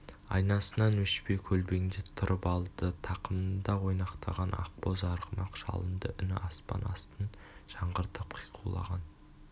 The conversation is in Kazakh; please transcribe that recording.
айнасынан өшпей көлбеңдеп тұрып алды тақымында ойнақтаған ақбоз арғымақ жалынды үні аспан астын жаңғыртып қиқулаған